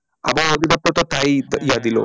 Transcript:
আবহাওয়া তাই দিলো